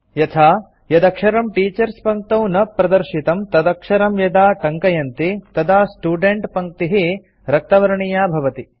यथा यदक्षरं टीचर्स पङ्क्तौ न प्रदर्शितं तदक्षरं यदा टङ्कयन्ति तदा स्टुडेण्ट पङ्क्तिः रक्तवर्णीया भवति